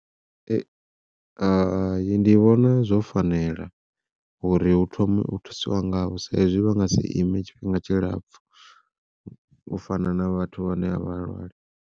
Hai ndi vhona zwo fanela uri hu thome u thusiwa ngavho sa izwi vha nga si ime tshifhinga tshilapfhu, u fana na vhathu vhane a vha lwali.